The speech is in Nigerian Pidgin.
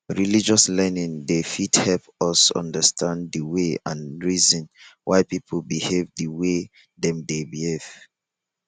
religious learning dey fit help us understand di way and reason why pipo behave di way dem dey behave